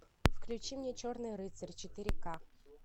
включи мне черный рыцарь четыре ка